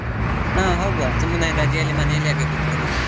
ಹಾ ಹೋಗುವ, ಸುಮ್ಮನೆ ರಜೆಯಲ್ಲಿ ಮನೇಲಿ ಯಾಕೆ ಕೂತ್ಕೊಳ್ಳೋದು?